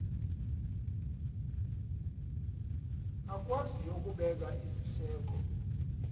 akwaziyo ukubeka iziseko